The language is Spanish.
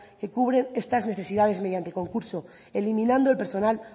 que cubren estas necesidades mediante concurso eliminando el personal